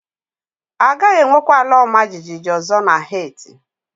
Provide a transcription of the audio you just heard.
A gaghị enwekwa ala ọma jijiji ọzọ na Heti